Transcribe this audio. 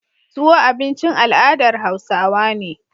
Tuwo abincin al adar hausawa ne